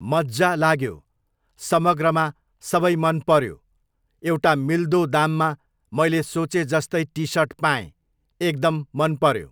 मज्जा लाग्यो, समग्रमा सबै मन पऱ्यो, एउटा मिल्दो दाममा मैले सोचे जस्तै टिसर्ट पाएँ, एकदम मन पऱ्यो